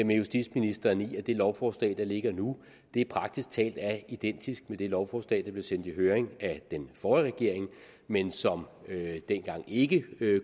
med justitsministeren i at det lovforslag der ligger nu praktisk talt er identisk med det lovforslag der blev sendt i høring af den forrige regering men som dengang ikke